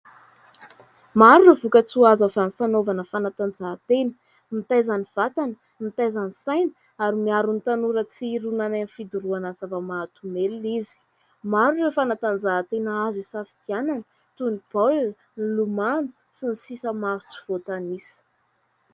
Maro ireo vokatsoa azo avy amin'ny fanaovana fanatanjahan-tena : mitaiza ny vatana, mitaiza ny saina ary miaro ny tanora tsy hirona any amin'ny fidorohana zava-mahadomelina izy. Maro ireo fanatanjahan-tena azo isafidianana, toy ny baolina, ny lomano sy ny sisa maro tsy voatanisa...